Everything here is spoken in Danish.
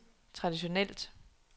traditionelt